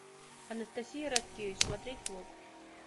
анастасия радкевич смотреть влог